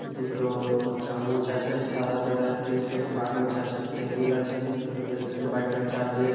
দুটো চামচ আছে সাদা কালারের টিস্যু কাগজ আছে টেবিল আছে টেবিল আছে বাইকের চাবি আ--